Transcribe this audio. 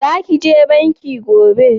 Za ki je banki gobe?